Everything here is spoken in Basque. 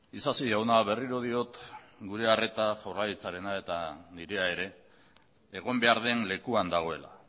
isasi jauna berriro diot gurea arreta jaurlaritzarena eta nirea ere egon behar den lekuan dagoela